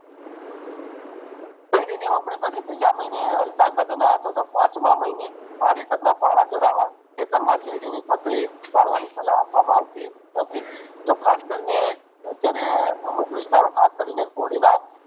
કાયડી ની પછી ત્રીજા મહિને અથવા તોહ પાંચ માં મહિને ભારે કાઢ ના પાન ચડાવા ખેતર માં શેરડી ની પાથરી ભાડવાની સલાહ આપવામાં આવતી હતી તોહ અત્યારે અમુક વિસ્તારો ખાસ કરીને હોળીના